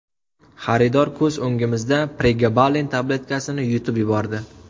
Xaridor ko‘z o‘ngimizda pregabalin tabletkasini yutib yubordi.